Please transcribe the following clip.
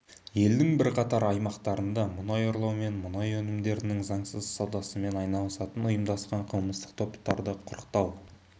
елдің бірқатар аймақтарында мұнай ұрлау мен мұнай өнімдерінің заңсыз саудасымен айналысатын ұйымдасқан қылмыстық топтарды құрықтау